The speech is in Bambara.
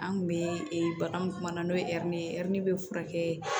An kun be bagan mun kuma na n'o ye ɛri ye ɛri be furakɛ